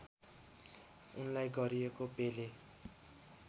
उनलाई गरिएको पेले